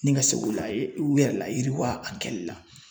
Ni ka se k'u laye u yɛrɛ layiriwa a kɛli la .